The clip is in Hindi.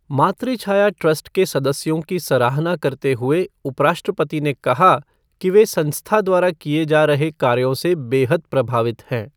मातृछाया ट्रस्ट के सदस्यों की सराहना करते हुए उपराष्ट्रपति ने कहा कि वे संस्था द्वारा किए जा रहे कार्यों से बेहद प्रभावित हैं।